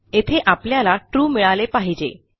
येथे आपल्याला ट्रू मिळाले पाहिजे